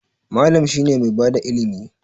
Mallam shine mai bada ilimi.